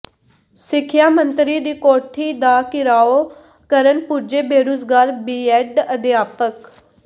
ਸਿੱਖਿਆ ਮੰਤਰੀ ਦੀ ਕੋਠੀ ਦਾ ਿਘਰਾਓ ਕਰਨ ਪੁੱਜੇ ਬੇਰੁਜ਼ਗਾਰ ਬੀਐੱਡ ਅਧਿਆਪਕ